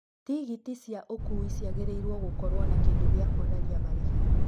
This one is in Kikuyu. Tigiti cia ũkuui ciagĩrĩirũo gũkorũo na kĩndũ gĩa kũonania marĩhi.